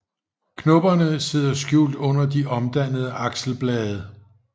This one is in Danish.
Knopperne sidder skjult under de omdannede akselblade